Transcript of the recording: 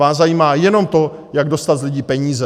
Vás zajímá jenom to, jak dostat z lidí peníze.